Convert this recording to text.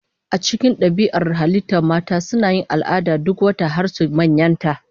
A cikin dabi'ar halittar mata, suna yin al'ada duk wata har su manyanta.